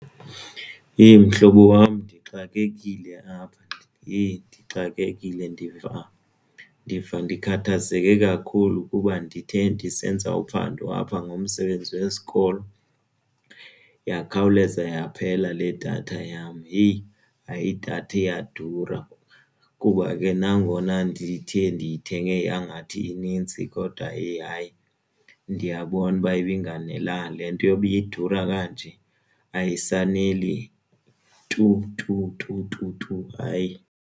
Yheyi mhlobo wam ndixakekile apha yheyi ndixakekile. Ndiva ndiva ndikhathazeke kakhulu kuba ndithe ndisenza uphando apha ngomsebenzi wesikolo yakhawuleza yaphela le datha yam. Yheyi hayi idatha iyadura kuba ke nangona ndithe ndiyithenge yangathi inintsi kodwa yheyi hayi ndiyabona uba ibingafanelekanga. Le nto yoba iyadura kanje ayisaneli tu tu tu tu tu hayi.